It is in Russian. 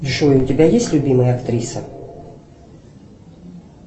джой у тебя есть любимая актриса